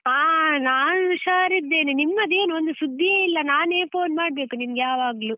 ಹಾ ನಾನು ಹುಷಾರಿದ್ದೇನೆ, ನಿಮ್ಮದೇನು ಒಂದು ಸುದ್ದಿಯೇ ಇಲ್ಲ, ನಾನೇ phone ಮಾಡ್ಬೇಕು ನಿಂಗ್ ಯಾವಾಗ್ಲು.